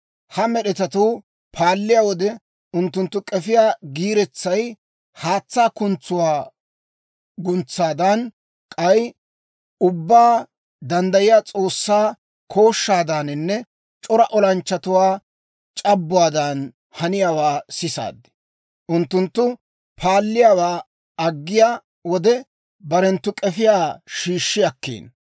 Ha med'etatuu paalliyaa wode, unttunttu k'efiyaa giiretsay haatsaa kuntsuwaa guntsaadan, k'ay Ubbaa Danddayiyaa S'oossaa kooshshaadaaninne c'ora olanchchatuwaa c'abbuwaadan haniyaawaa sisaad. Unttunttu paaluwaa aggiyaa wode, barenttu k'efiyaa shiishshi akkiino.